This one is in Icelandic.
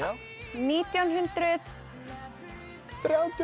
nítján hundruð þrjátíu og